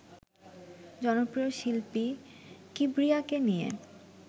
জনপ্রিয় শিল্পী কিবরিয়াকে নিয়ে